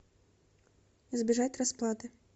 избежать расплаты